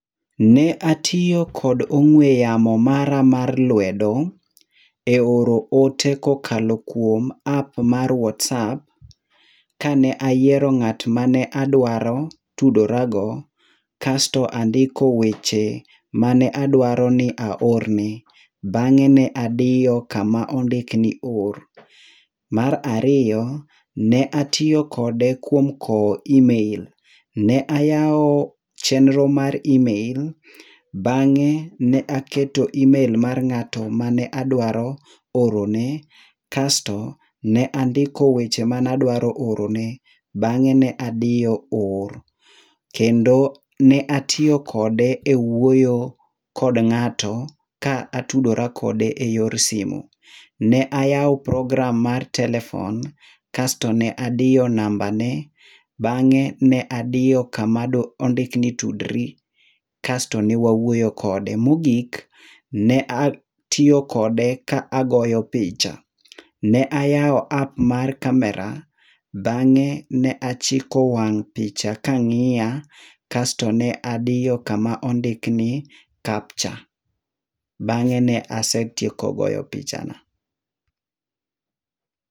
Ne atiyo kod ong'ue yamo mara mar lwedo, eoro ote kokalo kuom ap mar whatsapp, kane ayiero ng'at mane adwaro tudorago, kas to andiko weche mane adwaro ni aorne. Bang'e ne adiyo kama ondik ni or. Mar ariyo, ne atiyo kode kuom kowo imel. Ne ayawo chenro mar imel, bang'e ne aketo imel mar ng'ato mane adwaro orone kasto ne andiko weche mane adwaro orone, bang'e ne adiyo or. Kendo ne atiyo kode ewuoyo kod ng'ato ka atudora kode eyor simu. Ne ayawo program mar telephone, kasto ne adiyo namba ne, bang'e ne adiyo kama ondik ni tudri, kasto ne wawuoyo kode. Mogik, ne atiyo kode ka agoyo picha. Ne ayawo ap mar camera, bang'e ne achiko wang picha kang'iya, kasto ne adiyo kama ne ondikni ni capture. Bang'e ne ase tieko goyo pichana.